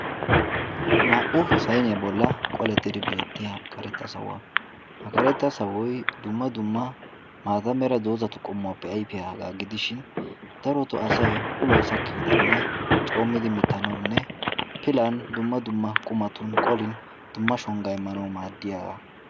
naa''u sainiyaa bolla qolettidi beettiya karetta sawuwaa ha karetta sawoy dumma dumma maata mera doozatu qommuwaappe ayfidaagaa gidishin daroto asay uloy sakki udenne coommidi mittanaunne pilan dumma dumma qumatun qolin dumma shongga immanawu maaddiyaagaa